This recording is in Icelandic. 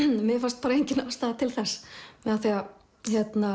mér fannst bara engin ástæða til þess af því